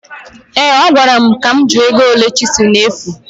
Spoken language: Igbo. Ee, ọ gwara m ka m jụọ ego ole chịsel na-efu